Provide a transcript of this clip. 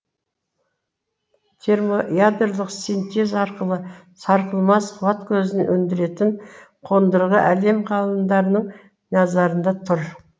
термоядролық синтез арқылы сарқылмас қуат көзін өндіретін қондырғы әлем ғалымдарының назарында тұр